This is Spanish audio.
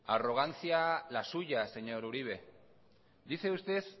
arrogancia la suya señor uribe dice usted